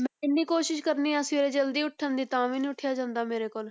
ਮੈਂ ਇੰਨੀ ਕੋਸ਼ਿਸ਼ ਕਰਦੀ ਹਾਂ ਸਵੇਰੇ ਜ਼ਲਦੀ ਉੱਠਣ ਦੀ ਤਾਂ ਵੀ ਨੀ ਉੱਠਿਆ ਜਾਂਦਾ ਮੇਰੇ ਕੋਲ।